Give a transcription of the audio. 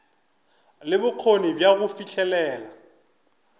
le bokgoni bja go fihlelela